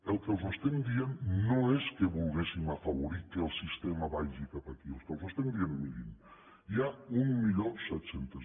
el que els estem dient no és que vulguem afavorir que el sistema vagi cap aquí el que els estem dient és mirin hi ha mil set cents